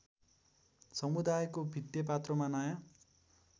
समुदायको भित्तेपात्रोमा नयाँ